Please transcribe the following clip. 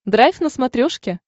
драйв на смотрешке